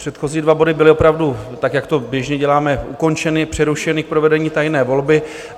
Předchozí dva body byly opravdu, tak jak to běžně děláme, ukončeny, přerušeny k provedení tajné volby.